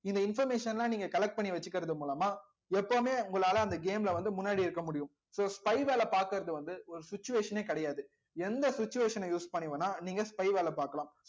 இந்த information எல்லாம் நீங்க collect பண்ணி வச்சுக்கிறது மூலமா எப்பவுமே உங்களால அந்த game ல வந்து முன்னாடி இருக்க முடியும் so spy வேலை பாக்கறது வந்து ஒரு situation ஏ கிடையாது எந்த situation அ use பண்ணி வேணா நீங்க spy வேலை பார்க்கலாம்